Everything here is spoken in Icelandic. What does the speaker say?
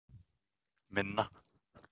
Minna